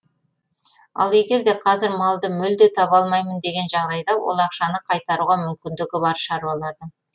ал егер де қазір малды мүлде таба алмаймын деген жағдайда ол ақшаны қайтаруға мүмкіндігі бар шаруалардың